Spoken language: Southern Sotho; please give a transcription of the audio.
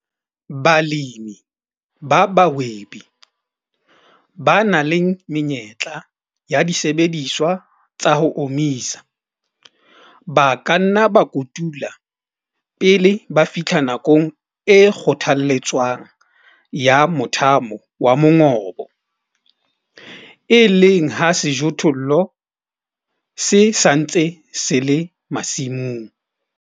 Balemi ba bahwebi, ba nang le menyetla ya disebediswa tsa ho omisa, ba ka nna ba kotula pele ba fihla nakong e kgothaletswang ya mothamo wa mongobo, e leng ha sejothollo se sa ntse se le masimong.